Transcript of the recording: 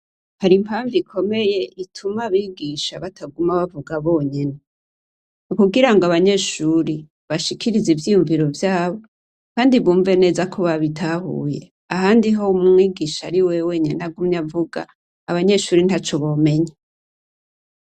Hari impavu ikomeye ituma abigisha bataguma bavuga bonyene nukugira abanyeshure bashikirize ivyiyumviro vyabo kandi yumve neza ko ababitahuye ahandi ho ari wew wenyine ariwe avuga abanyesure ntaco bomenya.